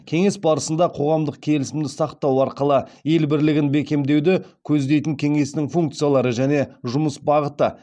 кеңес барысында қоғамдық келісімді сақтау арқылы ел бірлігін бекемдеуді көздейтін кеңестің функциялары және жұмыс бағыты